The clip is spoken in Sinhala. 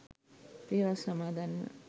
පෙහෙවස් සමාදන්ව